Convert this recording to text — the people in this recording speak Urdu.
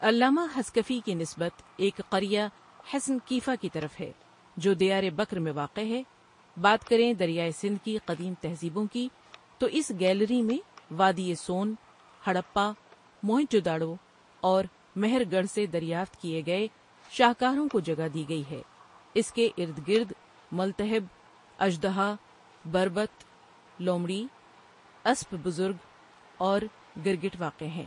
علامہ حصکفی کی نسبت ایک قریہ حصن کیفا کی طرف ہے جو دیار بکر میں واقع ہے بات کریں دریائے سندھ کی قدیم تہذیبوں کی تو اس گیلری میں وادئ سون، ہڑپہ، موہنجودڑو اور مہر گڑھ سے دریافت کیئے گئے شاہکاروں کو جگہ دی گئی ہے اس کے اردگرد ملتھب، اژدہا، بربط، لومڑی، اسپ بزرگ اور گرگٹ واقع ہیں .